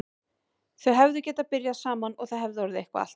Þau hefðu getað byrjað saman og það hefði orðið eitthvað allt annað.